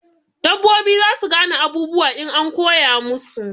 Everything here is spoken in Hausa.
Dabbobi zasu gane abubuwa in an koya musu